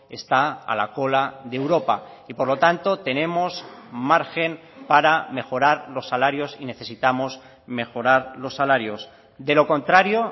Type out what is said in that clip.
está a la cola de europa y por lo tanto tenemos margen para mejorar los salarios y necesitamos mejorar los salarios de lo contrario